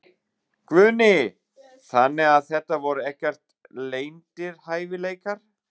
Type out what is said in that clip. Guðný: Þannig að þetta voru ekkert leyndir hæfileikar?